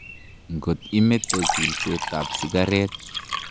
Ngot imete kulset ap sikaret.